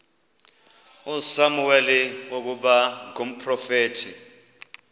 usamuweli ukuba ngumprofeti